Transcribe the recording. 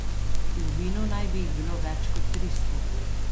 V vinu naj bi jih bilo več kot tristo.